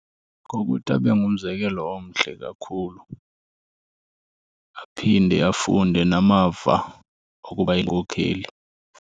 Ngokuthi abe ngumzekelo omhle kakhulu, aphinde afunde namava okuba yinkokheli.